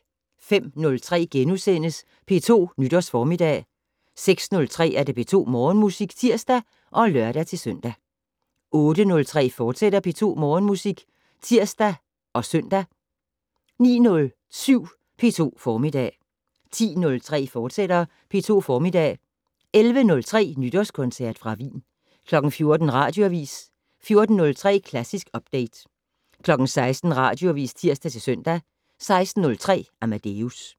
05:03: P2 Nytårsformiddag * 06:03: P2 Morgenmusik (tir og lør-søn) 08:03: P2 Morgenmusik, fortsat (tir og søn) 09:07: P2 Formiddag 10:03: P2 Formiddag, fortsat 11:03: Nytårskoncert fra Wien 14:00: Radioavis 14:03: Klassisk Update 16:00: Radioavis (tir-søn) 16:03: Amadeus